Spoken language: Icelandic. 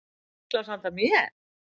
Og bjórglas handa mér.